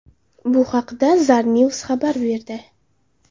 Bu haqda Zarnews xabar berdi .